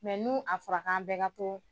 n'u a fɔra k'an bɛɛ ka to